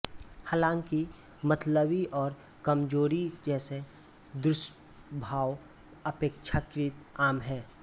हालांकि मतली और कमजोरी जैसे दुष्प्रभाव अपेक्षाकृत आम हैं